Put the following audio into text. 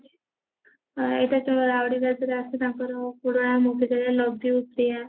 ଏଟା ଯୋଉ ଆସେ ତାଙ୍କର